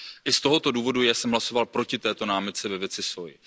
I z tohoto důvodu jsem hlasoval proti této námitce ve věci sóji.